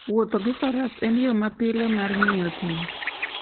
Wuotho gi faras en yo mapile mar ng'iyo thim.